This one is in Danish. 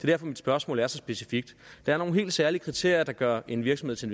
derfor mit spørgsmål er så specifikt der er nogle helt særlige kriterier der gør en virksomhed til